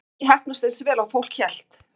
Það hefur ekki heppnast eins vel og fólk hélt.